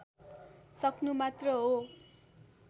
सक्नु मात्र हो